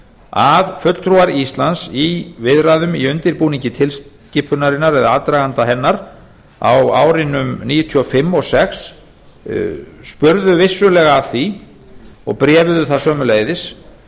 að fulltrúar íslands í viðræðum í undirbúningi tilskipunarinnar eða aðdraganda hennar á árunum nítján hundruð níutíu og fimm og nítján hundruð níutíu og sex spurðu vissulega að því og bréfuðu það sömuleiðis